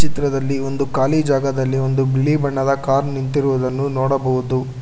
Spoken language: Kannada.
ಚಿತ್ರದಲ್ಲಿ ಒಂದು ಖಾಲಿ ಜಾಗದಲ್ಲಿ ಒಂದು ಬಿಳಿ ಬಣ್ಣದ ಕಾರ್ ನಿಂತಿರುವುದನ್ನು ನೋಡಬಹುದು.